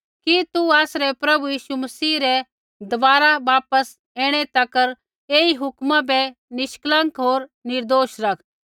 कि तू आसरै प्रभु यीशु मसीह रै दबारा वापस ऐणै तक ऐई हुक्मा बै निष्कलंक होर निर्दोष रख